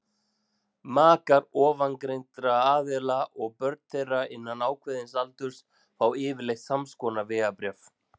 makar ofangreindra aðila og börn þeirra innan ákveðins aldurs fá yfirleitt samskonar vegabréf